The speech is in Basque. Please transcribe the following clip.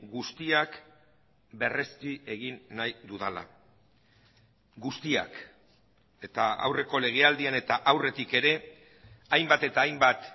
guztiak berrezti egin nahi dudala guztiak eta aurreko legealdian eta aurretik ere hainbat eta hainbat